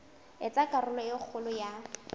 etsa karolo e kgolo ya